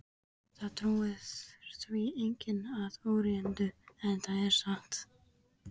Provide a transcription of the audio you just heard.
Það trúir því enginn að óreyndu, en það er satt.